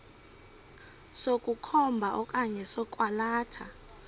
sokukhomba okanye sokwalatha